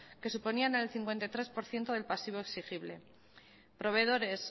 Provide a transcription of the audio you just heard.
que suponían el cincuenta y tres por ciento del pasivo exigible proveedores